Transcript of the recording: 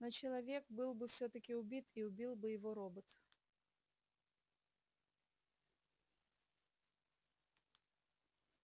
но человек был бы всё-таки убит и его убил бы робот